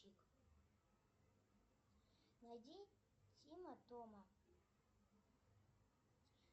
найди тима тома